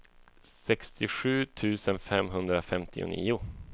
sextiosju tusen femhundrafemtionio